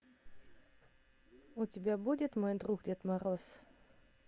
у тебя будет мой друг дед мороз